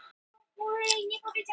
Varð aðeins samfellt suð.